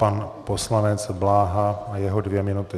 Pan poslanec Bláha a jeho dvě minuty.